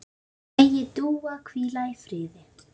Megi Dúa hvíla í friði.